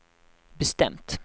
bestämt